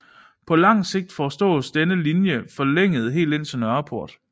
På lang sigt foreslås denne linje forlænget helt ind til Nørreport